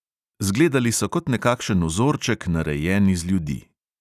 Zgledali so kot nekakšen vzorček, narejen iz ljudi.